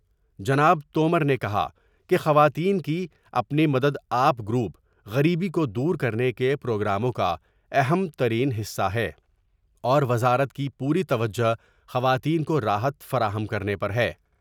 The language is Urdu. جناب تو مر نے کہا کہ خواتین کے اپنی مدد آپ گروپ غریبی کو دور کرنے کے پروگراموں کا اہم ترین حصہ ہے اور وزارت کی پوری توجہ خواتین کو راحت فراہم کرنے پر ہے ۔